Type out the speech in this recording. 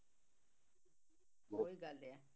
ਉਹੀ ਗੱਲ ਆ